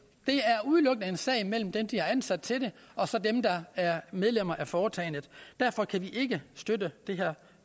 er udelukkende en sag mellem dem de har ansat til det og så dem der er medlemmer af foretagendet derfor kan vi ikke støtte det her